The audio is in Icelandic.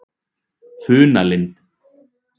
Funalind